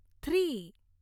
three